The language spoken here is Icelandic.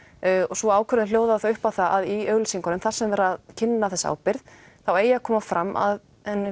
sú ákvörðun hljóðaði þá upp á það að í auglýsingunni þar sem var verið að kynna þessa ábyrgð þá eigi að koma fram að